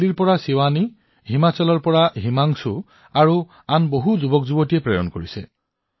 দিল্লীৰ পৰা শিৱানী হিমাচলৰ পৰা হিমাংশু আৰু আন বহুতো যুৱকলৈ একেধৰণৰ বাৰ্তা প্ৰেৰণ কৰা হৈছে